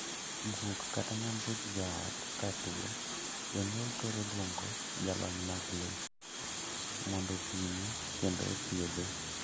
Guok kata nyambuch joot ka tuo, jonyuol thoro luongo jalony mag lee mondo opime kendo odhiedhe.